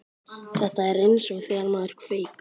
Þetta er eins og þegar maður kveik